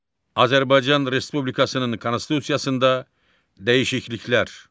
Azərbaycan Respublikasının Konstitusiyasında dəyişikliklər.